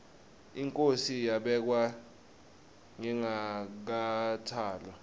inkhosi yabekwa ngingakatalwa